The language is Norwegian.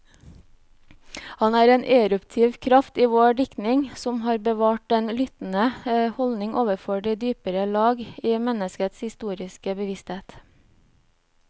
Han er en eruptiv kraft i vår diktning, som har bevart den lyttende holdning overfor de dypere lag i menneskets historiske bevissthet.